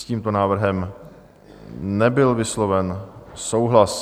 S tímto návrhem nebyl vysloven souhlas.